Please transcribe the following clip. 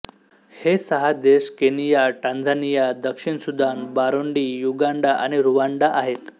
हे सहा देश केनिया टांझानिया दक्षिण सुदान बुरुंडी युगांडा आणि रुवांडा आहेत